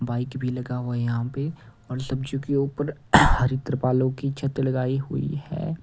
Bike भी लगा हुआ है यहां पे और सब्जियों के ऊपर हरि त्रिपालों की छत लगाई हुई है।